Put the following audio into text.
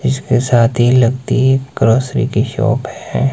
इसके साथ ही लगती ग्रॉसरी की शॉप है।